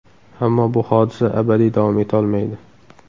Ammo bu hodisa abadiy davom etolmaydi.